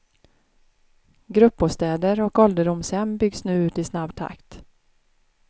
Gruppbostäder och ålderdomshem byggs nu ut i snabb takt.